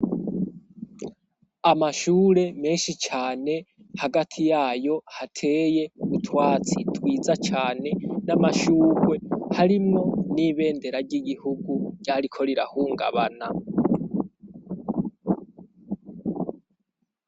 Amashure menshi cane, hagati yayo hateye utwatsi twiza cane, n'amashurwe, harimwo n'ibendera ry'igihugu ryariko rirahungabana.